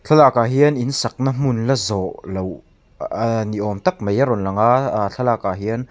ah hian in sakna hmun la zawh loh ni awm tak mai a rawn lang a a thlalakah hian--